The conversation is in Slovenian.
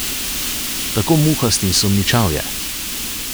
Tako muhast in sumničav je.